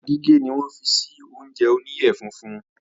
Ata gígé ni wọ́n fi sí oúnjẹ oníyẹ funfun.